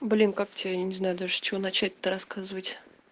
блин как тебе я не знаю с чего даже чего начать то рассказывать